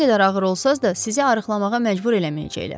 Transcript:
Nə qədər ağır olsanız da sizi arıqlamağa məcbur eləməyəcəklər.